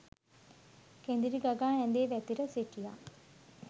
කෙඳිරි ගගා ඇඳේ වැතිර සිටියා